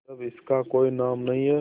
जब इसका कोई नाम नहीं है